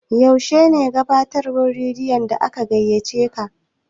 Yaushe ne gabatarwan radiyon da aka gaiyaceka?